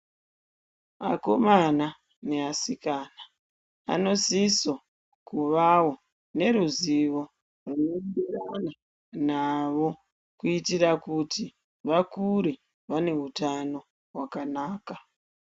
Akomana ne asikana ano siso kuvawo ne ruzivo rwuno enderana navo kuitira kuti vakure vane hutano hwakanaka.